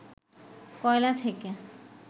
কয়লা থেকে